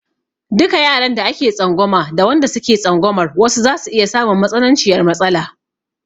Duka yaran da ake tsangwama da wanda suke tsangwamar wasu zasu iya samun matsananciyar matsala.